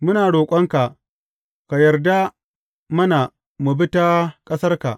Muna roƙonka, ka yarda mana mu bi ta ƙasarka.